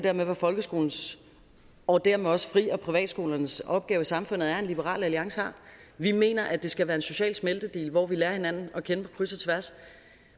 af hvad folkeskolens og dermed også fri og privatskolernes opgave i samfundet er end liberal alliance har vi mener at det skal være en social smeltedigel hvor vi lærer hinanden at kende på kryds og tværs